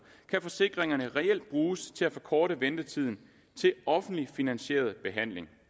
kan forsikringerne reelt bruges til at forkorte ventetiden til offentligt finansieret behandling